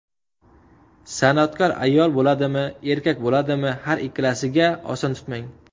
San’atkor ayol bo‘ladimi, erkak bo‘ladimi, har ikkalasiga oson tutmang.